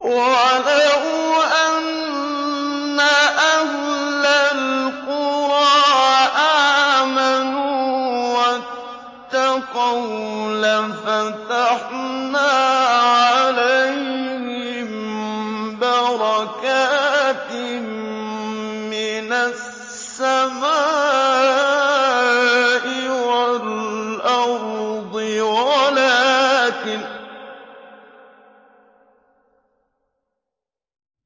وَلَوْ أَنَّ أَهْلَ الْقُرَىٰ آمَنُوا وَاتَّقَوْا لَفَتَحْنَا عَلَيْهِم بَرَكَاتٍ مِّنَ السَّمَاءِ وَالْأَرْضِ